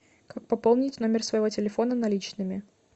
как пополнить номер своего телефона наличными